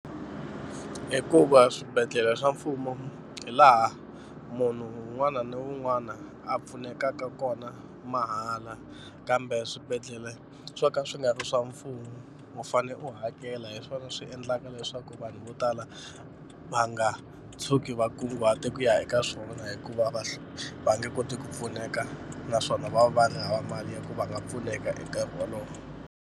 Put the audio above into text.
Hikuva swibedhlele swa mfumo hi laha munhu un'wana na un'wana a pfunekaka kona mahala kambe swibedhlele swo ka swi nga ri swa mfumo u fanele u hakela hi swona swi endlaka leswaku vanhu vo tala va nga tshuki va kunguhata ku ya eka swona hikuva va va nge koti ku pfuneka naswona vanhu hava mali ya ku va nga pfuneka hi nkarhi wolowo.